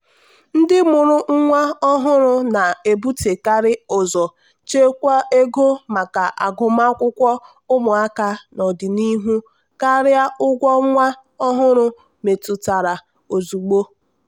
ndị mụrụ nwa ọhụrụ na-ebutekarị ụzọ ichekwa ego maka agụmakwụkwọ ụmụaka n'ọdịnihu karịa ụgwọ nwa ọhụrụ metụtara ozugbo.